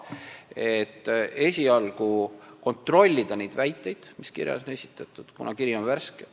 Seega tehti otsus esialgu kontrollida esitatud väiteid, kuna kiri on värske.